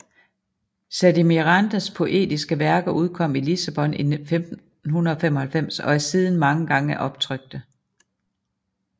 Sá de Mirandas poetiske værker udkom i Lissabon 1595 og er siden mange gange optrykte